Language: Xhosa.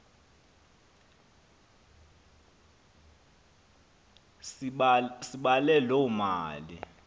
sibale loo mali